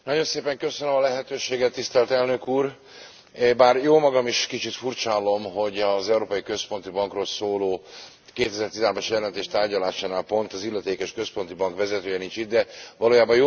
Bár jómagam is kicsit furcsállom, hogy az Európai Központi Bankról szóló 2013 as jelentés tárgyalásánál pont az illetékes központi bank vezetője nincs itt, de valójában jómagam is a Bizottsághoz szeretnék szólni néhány gondolat erejéig.